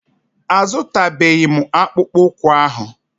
A zụtabeghi m akpụkpụ ụkwụ ahụ.